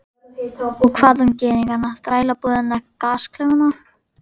Og hvað um gyðingana, þrælabúðirnar, gasklefana?